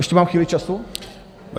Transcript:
Ještě mám chvíli času?